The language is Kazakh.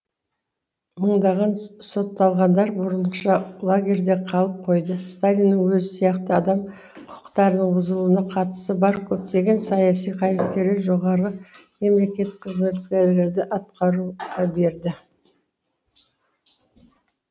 мыңдаған сотталғандар бұрынғыша лагерьлер қалып қойды сталиннің өзі сияқты адам қүкықтарының бұзылуына қатысы бар көптеген саяси қайраткерлер жоғарғы мемлекет қызметкерлерді атқаруға берді